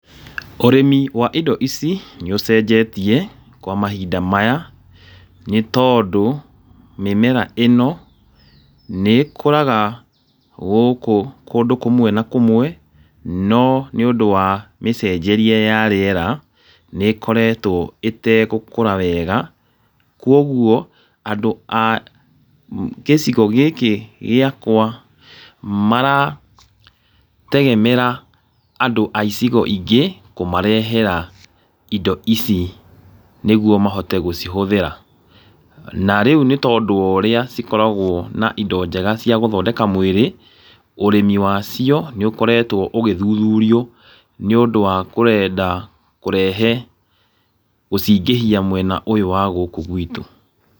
Ũrĩmi wa indo ici nĩ ũcenjetie kwa mahinda maya nĩ tondũ mĩmera ĩno nĩ ĩkũraga gũkũ kũndũ kũmwe na kũmwe, no nĩ ũndũ wa mĩcenjerie ya rĩera nĩ ĩkoretwo ĩtegũkũra wega. Koguo andũ a gĩcigo gĩkĩ gĩakwa mara tegemera andũ a icigo ingĩ kũmarehera indo ici nĩguo mahote gũcihũthĩra. Na rĩu nĩ tondũ wa ũrĩa cikoragwo na indo njega cia gũthondeka mwĩrĩ, ũrĩmi wacio nĩ ũkoretwo ũgĩthuthurio nĩ ũndũ wa kwenda kũrehe gũciingĩhia mwena ũyũ wa gũkũ gwitũ.